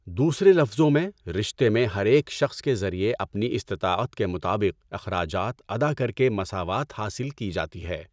دوسرے لفظوں میں، رشتے میں ہر ایک شخص کے ذریعے اپنی استطاعت کے مطابق اخراجات ادا کر کے مساوات حاصل کی جاتی ہے۔